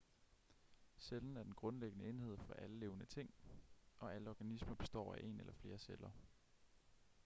cellen er den grundlæggende enhed for alle levende ting og alle organismer består af en eller flere celler